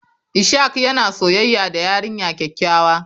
Ishak yana soyayya da yarinya kyakkyawa.